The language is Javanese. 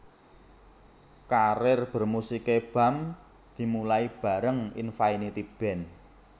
Karir bermusiké Bams dimulai bareng Infinity Band